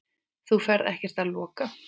Þú ferð ekkert að loka!